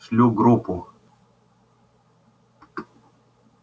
шлю группу